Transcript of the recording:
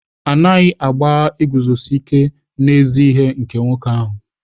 A naghị agbagha iguzosi ike n'ezi ihe nke nwoke ahụ.